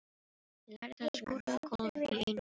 Ég lærði að skúra gólf í einum rykk.